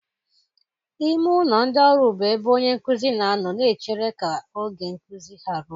Ime ụlọ ndị ọrụ bụ ebe onye nkuzi na-anọ na-echere ka oge nkuzi ha ruọ.